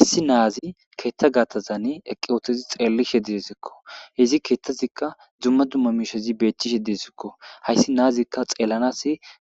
issi naazi keethta gaattazane eqqi ootozi xeellishe diesikko hizi keethtazikka dzumma dumma miishezi beethchishe disikko hayssi naazikka xeellanas